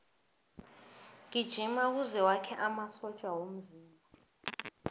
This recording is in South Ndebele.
gijima kuze wakhe amasotja womzimba